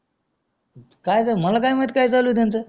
काय ते मला काय माहित काय चालू चालू आहे त्यांचा